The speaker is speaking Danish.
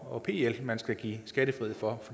og pl man skal give skattefrihed for